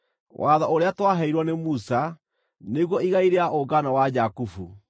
watho ũrĩa twaheirwo nĩ Musa, nĩguo igai rĩa ũngano wa Jakubu.